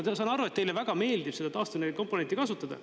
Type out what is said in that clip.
Ma saan aru, et teile väga meeldib seda taastuvenergia komponenti kasutada.